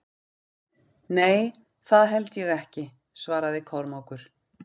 Nei, það held ég ekki, svaraði Kormákur.